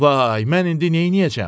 Vay, mən indi neyləyəcəm?